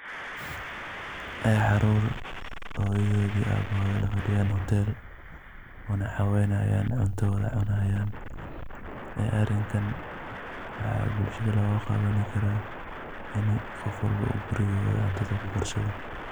Caruur, hooyidoda, aabahoda lafadhiyaan, hoteel wana caweynayaan cunto wada cunayaan. Arikan waxaa bulshada looga qabani karaa in qof walbo gurigooda cuntada ku karsado.